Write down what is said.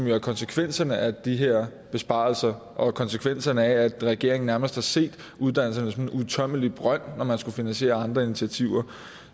jo konsekvenserne af de her besparelser og de er konsekvenserne af at regeringen nærmest har set uddannelserne som en uudtømmelig brønd når man skulle finansiere andre initiativer